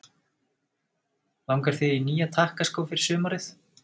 Langar þig í nýja takkaskó fyrir sumarið?